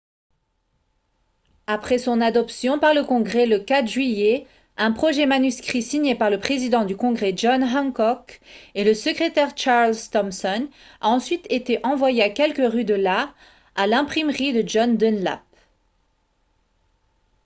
après son adoption par le congrès le 4 juillet un projet manuscrit signé par le président du congrès john hancock et le secrétaire charles thomson a ensuite été envoyé à quelques rues de là à l'imprimerie de john dunlap